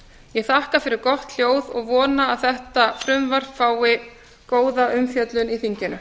ég þakka fyrir gott hljóð og vona að þetta frumvarp fái góða umfjöllun í þinginu